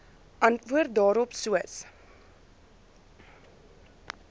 antwoord daarop soos